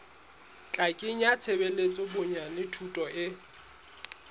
tla kenyeletsa bonyane thuto e